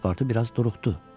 Paspartu biraz duruxdu.